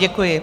Děkuji.